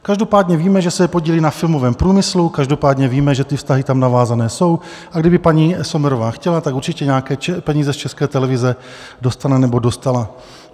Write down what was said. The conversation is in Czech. Každopádně víme, že se podílí na filmovém průmyslu, každopádně víme, že ty vztahy tam navázané jsou, a kdyby paní Sommerová chtěla, tak určitě nějaké peníze z České televize dostane nebo dostala.